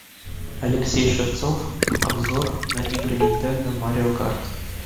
алексей шевцов обзор на игры нинтендо марио карт